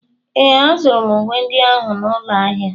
Ee, azụrụ m uwe ndị ahụ n'ụlọ ahịa.